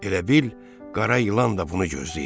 Elə bil qara ilan da bunu gözləyirmiş.